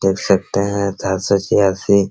देख सकते हैं सात सो छियासी --